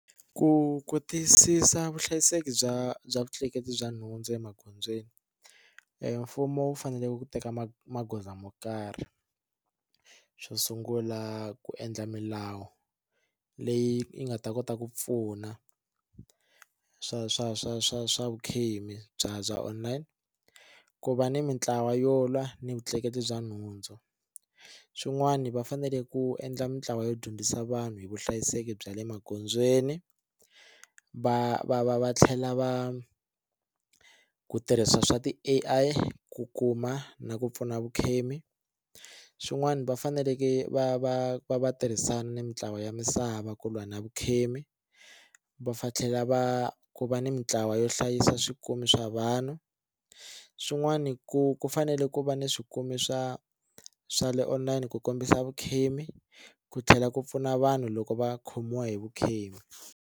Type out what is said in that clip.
Ku ku tiyisisa vuhlayiseki bya bya vutleketli bya nhundzu emagondzweni mfumo wu fanele ku teka magoza mo karhi xo sungula ku endla milawu leyi yi nga ta kota ku pfuna swa swa swa swa swa vukhemi bya bya online ku va ni mitlawa yo lwa ni vutleketli bya nhundzu swin'wana va fanele ku endla mintlawa yo dyondzisa vanhu hi vuhlayiseki bya le magondzweni va va va va tlhela va ku tirhisa swa ti A_I ku kuma na ku pfuna vukhemi swin'wana va faneleke va va va va tirhisana mintlawa ya misava ku lwa na vukhemi va fa tlhela va ku va ni mitlawa yo hlayisa swikomi swa vanhu swin'wani ku ku fanele ku va ni swikomi swa swa le online ku kombisa vukhemi ku tlhela ku pfuna vanhu loko va khomiwa hi vukhemi.